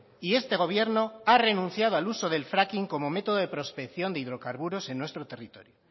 y este gobierno han renunciado al uso del fracking como método de prospección de hidrocarburos en nuestro territorio